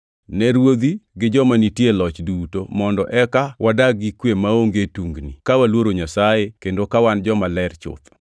ne ruodhi gi joma nitie e loch duto mondo eka wadag gi kwe maonge tungni, ka waluoro Nyasaye kendo ka wan jomaler chuth.